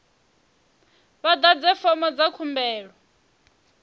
vha ḓadze fomo dza khumbelo